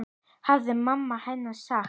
Það hafði mamma hennar sagt.